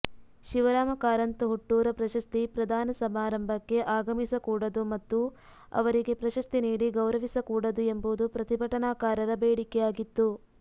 ಶಿವರಾಮ ಕಾರಂತ ಹುಟ್ಟೂರ ಪ್ರಶಸ್ತಿ ಪ್ರದಾನ ಸಮಾರಂಭಕ್ಕೆ ಆಗಮಿಸಕೂಡದು ಮತ್ತು ಅವರಿಗೆ ಪ್ರಶಸ್ತಿ ನೀಡಿ ಗೌರವಿಸಕೂಡದು ಎಂಬುದು ಪ್ರತಿಭಟನಾಕಾರರ ಬೇಡಿಕೆಯಾಗಿತ್ತು